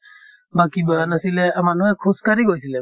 বা কি নাছিলে মানুহে খোজ কাঢ়ি গৈছিলে।